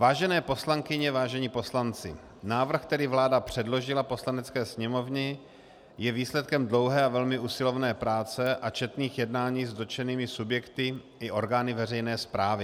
Vážené poslankyně, vážení poslanci, návrh, který vláda předložila Poslanecké sněmovně, je výsledkem dlouhé a velmi usilovné práce a četných jednání s dotčenými subjekty i orgány veřejné správy.